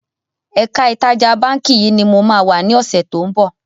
Ẹ̀ka ìtajà báńkì yìí ni mo máa wà ní ọ̀sẹ̀ to ń bọ̀.